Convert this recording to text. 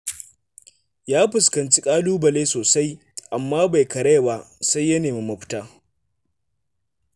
Ya fuskanci ƙalubale sosai, amma bai karaya ba, sai ya nemi mafita.